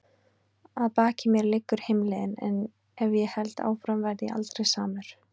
Að baki mér liggur heimleiðin- en ef ég held áfram verð ég aldrei samur.